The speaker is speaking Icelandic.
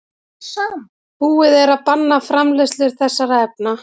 Búið er að banna framleiðslu þessara efna.